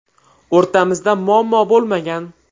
O‘rtamizda muammo bo‘lmagan.